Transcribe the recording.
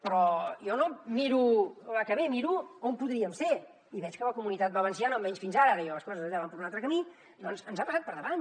però jo no miro la que ve miro on podríem ser i veig que la comunitat valenciana almenys fins ara ara les coses allà ja van per un altre camí ens ha passat al davant